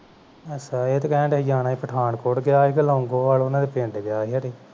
ਅੱਛਾ ਇਹ ਤੇ ਕਹਣ ਡਆ ਸੀ ਜਾਣਾ ਸੀ Pathankot ਗਿਆ ਸੀਗਾ ਕੇ Longowal ਪਿੰਡ ਗਿਆ ਸੀ ਖਰੇ